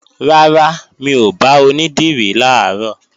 Rárá, mi ò bá onídìrí làárọ̀